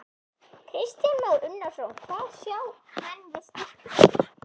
Kristján Már Unnarsson: Hvað sjá menn við Stykkishólm?